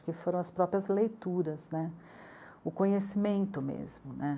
que foram as próprias leituras, né? o conhecimento mesmo, né?